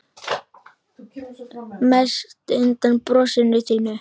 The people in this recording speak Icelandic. Mest undan brosinu þínu.